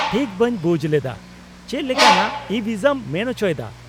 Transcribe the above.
-ᱴᱷᱤᱠ ᱵᱟᱹᱧ ᱵᱩᱡ ᱞᱮᱫᱟ, ᱪᱮᱫ ᱞᱮᱠᱟᱱᱟᱜ ᱤᱼᱵᱷᱤᱥᱟᱢ ᱢᱮᱱ ᱪᱚᱭ ᱫᱟ ?